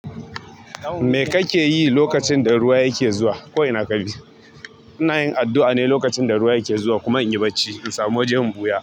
Me kake yi lokacin da ruwa yake zuwa? Ko ina ka bi. Ina yin addu'a ne lokacin da ruwa yake zuwa, kuma in yi bacci in samu waje in buyan.